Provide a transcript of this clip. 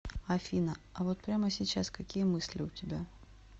афина а вот прямо сейчас какие мысли у тебя